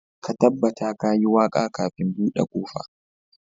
Ka tabbata ka yi waka kafin bude kofa